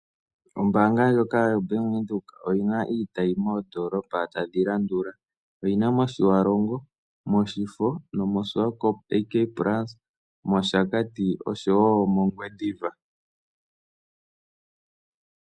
Ombaanga ndjoka yoBank Windhoek oyi na iitayi moondoolopa tadhi landula: oyi na mOtiwarongo, mOshifo nomoSwakopo AK Plaza, mOshakati osho wo mOngwediva.